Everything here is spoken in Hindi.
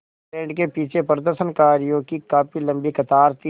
बैंड के पीछे प्रदर्शनकारियों की काफ़ी लम्बी कतार थी